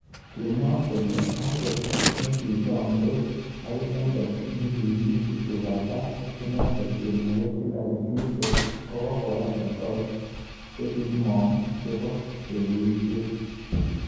Kimwa kole angot nikichamdos akinendet nikimi kiptubatai ak iknendet chemoget Hillary Clinton kokokoyan resolis chekimonk chebo segeishet.